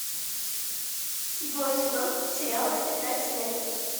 седьмой сезон сериала тетрадь смерти